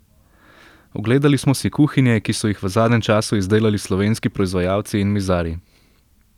Ogledali smo si kuhinje, ki so jih v zadnjem času izdelali slovenski proizvajalci in mizarji.